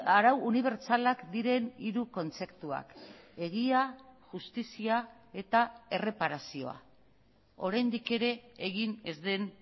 arau unibertsalak diren hiru kontzeptuak egia justizia eta erreparazioa oraindik ere egin ez den